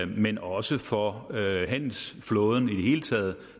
men også for handelsflåden hele taget